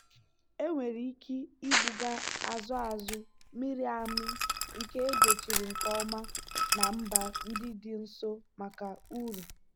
enwere ike ibuga azụ azụ mịrị amị nke edochiri nke ọma na mba ndị dị nso maka uru.